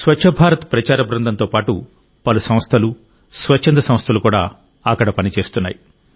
స్వచ్ఛ భారత్ ప్రచార బృందంతో పాటు పలు సంస్థలు స్వచ్ఛంద సంస్థలు కూడా అక్కడ పనిచేస్తున్నాయి